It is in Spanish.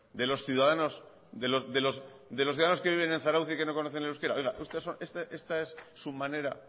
de los ciudadanos de los ciudadanos que viven en zarautz y que no conocen el euskera esta es su manera